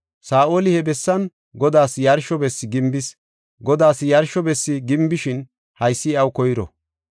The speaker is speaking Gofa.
Saa7oli he bessan Godaas yarsho bessi gimbis; Godaas yarsho bessi gimbishin haysi iyaw koyro.